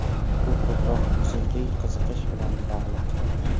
Bu ko‘proq musiqiy qiziqish bilan bog‘liq.